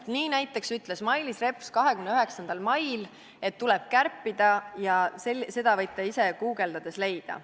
Nii näiteks ütles Mailis Reps 29. mail, et tuleb kärpida, ja seda võite ise guugeldades leida.